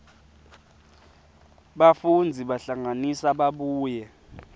bafundzi bahlanganisa babuye